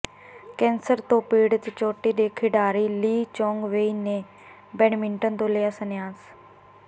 cancer ਤੋਂ ਪੀੜਤ ਚੋਟੀ ਦੇ ਖਿਡਾਰੀ ਲੀ ਚੋਂਗ ਵੇਈ ਨੇ ਬੈਡਮਿੰਟਨ ਤੋਂ ਲਿਆ ਸੰਨਿਆਸ